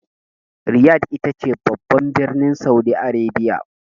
Riyadh ita ce babban birnin Saudi Arabia.